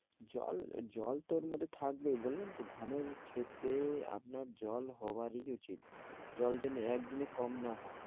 জল জল তো ওর মধ্যে থাকবেই বললাম তো, ধানের ক্ষেতে আপনার জল হবারই উচিত। জল যেন একদিনে কম না হয়।